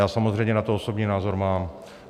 Já samozřejmě na to osobní názor mám.